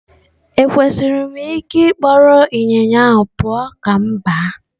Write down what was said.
Ekwesịrị m ịkpọrọ ịnyịnya pụọ ​​ka m gbaa?